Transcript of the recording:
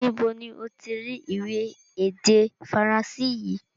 Níbo ni ó ti rí ìwé èdè Faransé yìí?